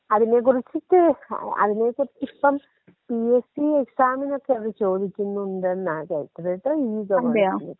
അതിനെ കുറിച്ചിട്ട് *നോട്ട്‌ ക്ലിയർ* അതിനെക്കുറിച്ചിപ്പം പിഎസ്സി എക്സാമിനൊക്കെ അത് ചോദിക്കുന്നുണ്ടെന്നാ കേട്ടത് *നോട്ട്‌ ക്ലിയർ*.